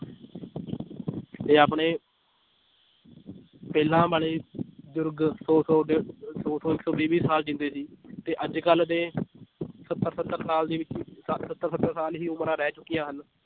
ਤੇ ਆਪਣੇ ਪਹਿਲਾਂ ਵਾਲੇ ਬਜ਼ੁਰਗ ਸੌ ਸੌ ਡੇਢ ਦੋ ਸੌ ਇੱਕ ਸੌ ਵੀਹ ਵੀਹ ਸਾਲ ਜਿਉਂਦੇ ਸੀ, ਤੇ ਅੱਜ ਕੱਲ੍ਹ ਦੇ ਸੱਤਰ ਸੱਤਰ ਸਾਲ ਹੀ ਉਮਰਾਂ ਰਹਿ ਚੁੱਕੀਆਂ ਹਨ